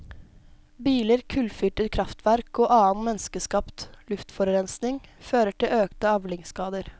Biler, kullfyrte krafftverk og annen menneskeskapt luftforurensning fører til økte avlingsskader.